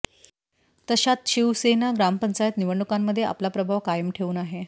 तशात शिवसेना ग्रामपंचायत निवडणूकांमध्ये आपला प्रभाव कायम ठेऊन आहे